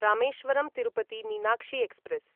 Rameswaram Tirupati Meenakshi express